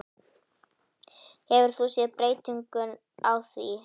Hefur þú séð breytingu á því?